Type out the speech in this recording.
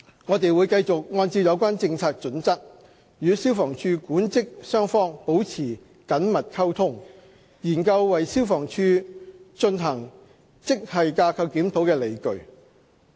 我們會繼續按照有關政策準則，與消防處管職雙方保持緊密溝通，研究為消防處進行職系架構檢討的理據。